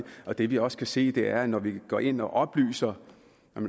og det vi også kan se er at når man går ind og oplyser